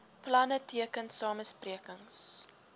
planne teken samesprekings